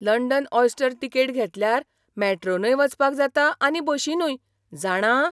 London oyster ticket घेतल्यार मॅट्रोनय वचपाक जाता आनी बशीनूय, जाणा?